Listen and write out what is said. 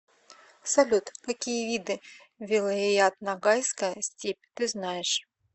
салют какие виды вилайят ногайская степь ты знаешь